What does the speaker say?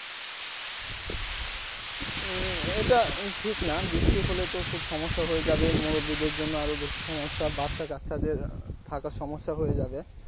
হম এটা ঠিক না বৃষ্টি হলে তো খুব সমস্যা হয়ে যাবে মুরুব্বীদের জন্য আরও বেশি সমস্যা বাচ্চাকাচ্চা দের থাকা সমস্যা হয়ে যাবে।